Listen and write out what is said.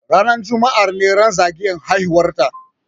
Ranar juma'a ne ran zagayan haihuwar ta